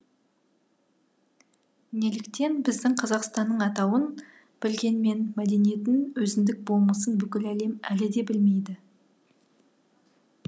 неліктен біздің қазақстанның атауын білгенмен мәдениетін өзіндік болмысын бүкіл әлем әлі де білмейді